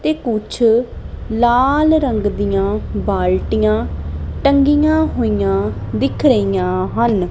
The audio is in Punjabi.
ਤੇ ਕੁਛ ਲਾਲ ਰੰਗ ਦੀਆਂ ਬਾਲਟੀਆਂ ਟੰਡੀਆਂ ਹੋਈਆਂ ਦਿਖ ਰਹੀਆਂ ਹਨ।